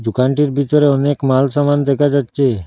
দোকানটির ভিতরে অনেক মাল সামান দেকা যাচ্চে।